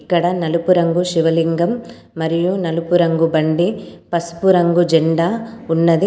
ఇక్కడ నలుపు రంగు శివలింగం మరియు నలుపు రంగు బండి పసుపు రంగు జెండా ఉన్నది.